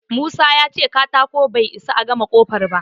Musa ya ce katako bai isa a gama ƙofar ba.